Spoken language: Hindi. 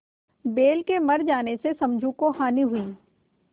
बैल के मर जाने से समझू को हानि हुई